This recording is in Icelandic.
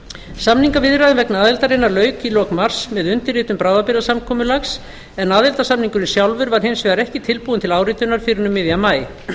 samningaviðræður vegna aðildarinnar lauk í lok mars með undirritun bráðabirgðasamkomulags en aðildarsamningurinn sjálfur var hins vegar ekki tilbúinn til áritunar fyrr en um miðjan maí